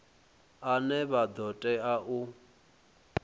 ane vha ḓo tea u